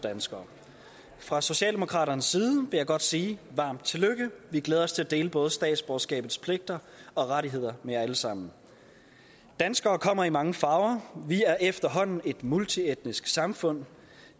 danskere fra socialdemokraternes side vil jeg godt sige varmt tillykke vi glæder os til at dele både statsborgerskabets pligter og rettigheder med jer alle sammen danskere kommer i mange farver vi er efterhånden et multietnisk samfund